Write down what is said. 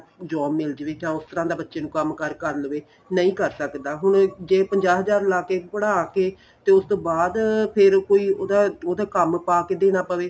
job ਮਿਲ ਜਾਵੇ ਜਾਂ ਉਸ ਤਰ੍ਹਾਂ ਦਾ ਬੱਚੇ ਨੂੰ ਕੰਮ ਕਾਰ ਕਰ ਲਵੇ ਨਹੀਂ ਕਰ ਸਕਦਾ ਹੁਣ ਜੇ ਪੰਜਾਹ ਹਜ਼ਾਰ ਲਾ ਕੇ ਪੜ੍ਹਾ ਕੇ ਤੇ ਉਸ ਤੋਂ ਬਾਅਦ ਫੇਰ ਕੋਈ ਉਹਦਾ ਉਹਦਾ ਕੰਮ ਪਾ ਕੇ ਦੇਣਾ ਪਵੇ